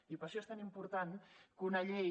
i per això és tan important que una llei